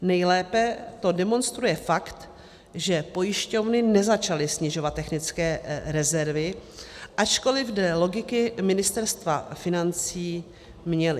Nejlépe to demonstruje fakt, že pojišťovny nezačaly snižovat technické rezervy, ačkoli dle logiky Ministerstva financí měly.